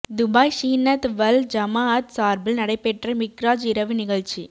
Dubai ஸூன்னத் வல் ஜமாஅத் சார்பில் நடைபெற்ற மிஃராஜ் இரவு நிகழ்ச்சி